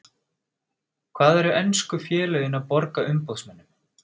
Hvað eru ensku félögin að borga umboðsmönnum?